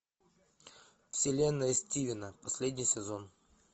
вселенная стивена последний сезон